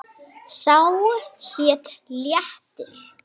Sá hét Léttir.